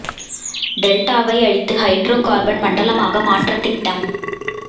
டெல்டாவை அழித்து hydrocarbon மண்டலமாக மாற்ற திட்டம்